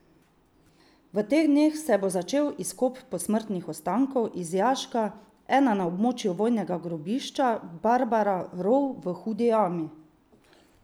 V teh dneh se bo začel izkop posmrtnih ostankov iz jaška ena na območju vojnega grobišča Barbara rov v Hudi Jami.